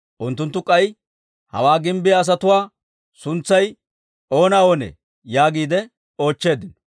Unttunttu k'ay, «Hawaa gimbbiyaa asatuwaa suntsay oona oonee?» yaagiide oochcheeddino.